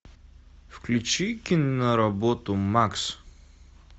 включи киноработу макс